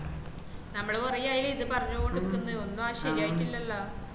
നമ്മള് കൊറേ ആയിലെ ഇത്‌ പറഞോണ്ടക്ന്നു ഒന്ന് അങ് ശരിയിട്ടല്ലലോ